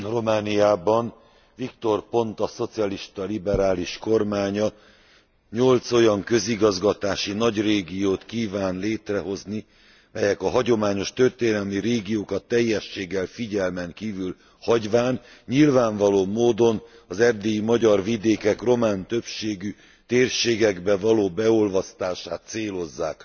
Romániában Victor Ponta szocialista liberális kormánya nyolc olyan közigazgatási nagyrégiót kíván létrehozni, melyek a hagyományos történelmi régiókat teljességgel figyelmen kívül hagyván, nyilvánvaló módon az erdélyi magyar vidékek román többségű térségekbe való beolvasztását célozzák.